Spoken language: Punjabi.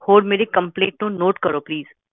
ਹੋਰ ਮੇਰੀ ਕੰਪਲੇਂਟ ਨੂੰ ਨੋਟ ਕਰੋ ਪਲੀਸ